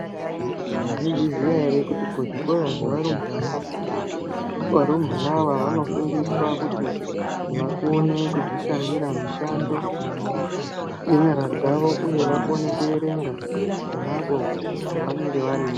Mwaizviziya ere kuti kuzvikora zvevarumbana varumbwana ava vanofundiswa kuti vakone kudzishandira mishando yenyara dzawo uye vakone kuerenga ponapo pavanenge variyo.